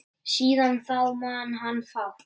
Síðan þá man hann fátt.